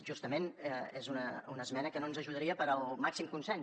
justament és una esmena que no ens ajudaria per al màxim consens